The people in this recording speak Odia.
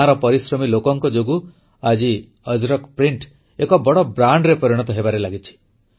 ଗାଁର ପରିଶ୍ରମୀ ଲୋକଙ୍କ ଯୋଗୁଁ ଆଜି ଅଜରକ୍ ପ୍ରିଣ୍ଟ ଏକ ବଡ଼ ବ୍ରାଣ୍ଡରେ ପରିଣତ ହେବାରେ ଲାଗିଛି